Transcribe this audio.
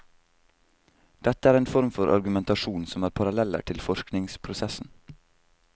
Dette er en form for argumentasjon som har paralleller til forskningsprosessen.